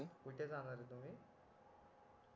कुठे जाणार आहे तुम्ही